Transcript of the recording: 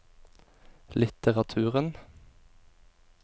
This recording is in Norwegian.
litteraturen